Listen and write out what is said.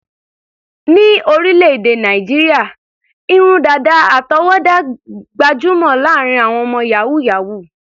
Ní orílẹ̀-èdè Nàìjíríà, irun dàdà àtọwọ́dá gbajúmọ̀ láàárín àwọn ọmọ yàhú-yàhuù.